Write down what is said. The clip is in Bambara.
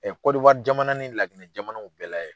Kɔdiwari jamana ni lajinɛ jamanaw bɛɛ layɛ